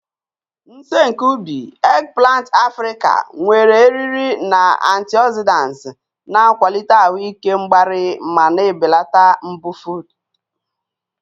Nsen nke ubi, eggplant Africa, nwere eriri na antioxidants, na-akwalite ahụ ike mgbari ma na-ebelata mbufụt.